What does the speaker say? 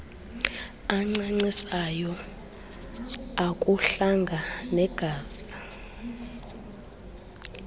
ancancisayo ukuhlanga negazi